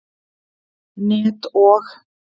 net og.